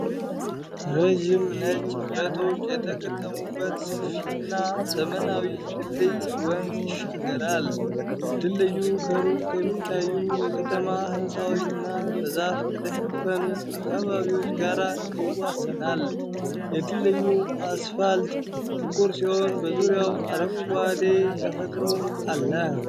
ረዣዥም ነጭ ብረቶች የተገጠሙበት ሰፊና ዘመናዊ ድልድይ ወንዝ ይሻገራል። ድልድዩ ከሩቅ ከሚታዩ የከተማ ሕንፃዎች እና በዛፍ ከተሸፈኑ አካባቢዎች ጋር ይዋሰናል። የድልድዩ አስፋልት ጥቁር ሲሆን በዙሪያው አረንጓዴ ተፈጥሮ አለ።